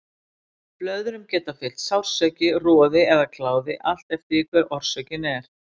Blöðrum geta fylgt sársauki, roði eða kláði, allt eftir því hver orsökin er.